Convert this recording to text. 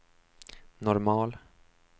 normal